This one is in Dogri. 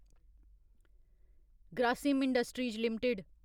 Grasim Industries limited